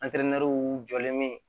jɔlen me